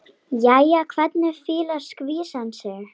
Jæja, hvernig fílar skvísan sig?